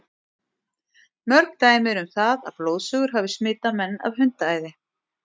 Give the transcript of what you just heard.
Mörg dæmi eru um það að blóðsugur hafi smitað menn af hundaæði.